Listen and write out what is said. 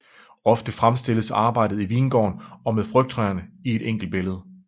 Ofte fremstilles arbejdet i vingården og med frugttræerne i et enkelt billede